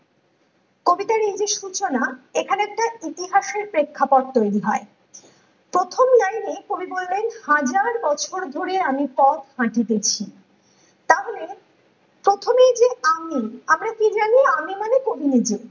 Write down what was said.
কবিতার এই যে সূচনা এখানে একটা ইতিহাসের পেক্ষাপট তৈরী হয় । প্রথম লাইনে কবি বললেন হাজার বছর ধরে আমি পথ হাঁটিতেছি তাহলে প্রথমেই যে আমি আমরা কি জানি আমি মানে কবি নিজে